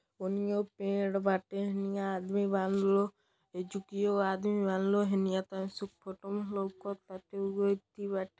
ओनियों पेड़ बाटे। एनिहा आदमी बांनलो। एक जुकियो आदमी मानलो। हेनिया तनी फोटोवो लौकता ओहो येथी बा।